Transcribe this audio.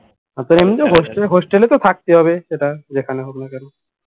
এমনিতেই তো hostel এ তো থাকতেই হবে সেটা যেখানেই হোক না কেন